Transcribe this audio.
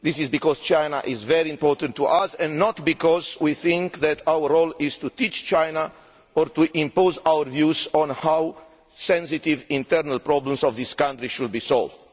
because China is very important to us and not because we think that our role is to teach China or to impose our views on how sensitive internal problems of this country should be solved.